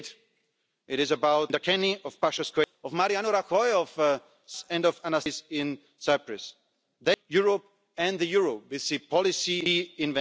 again. The crisis times are over. Now it's time for a more united Europe, for a more democratic Europe and for a more ambitious Europe.